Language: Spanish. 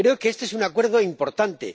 Creo que este es un Acuerdo importante.